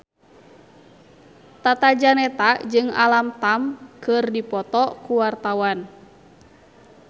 Tata Janeta jeung Alam Tam keur dipoto ku wartawan